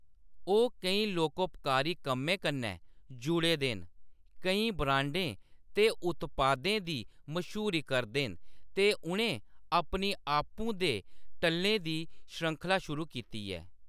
ओह्‌‌ केईं लोकोपकारी कम्में कन्नै जुड़े दे न, केईं ब्रांडें ते उत्पादें दी मश्हूरी करदे न ते उʼनें अपनी आपूं दे टल्लें दी श्रृंखला शुरू कीती ऐ।